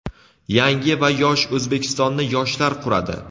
Yangi va yosh O‘zbekistonni yoshlar quradi!.